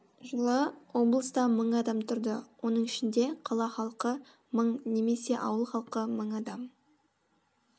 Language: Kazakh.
жылы облыста мың адам тұрды оның ішінде қала халқы мың немесе ауыл халқы мың адам